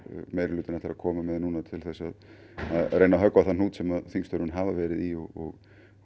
meirihlutinn ætlar að koma með núna til þess að reyna að höggva á þann hnút sem þingstörfin hafa verið í og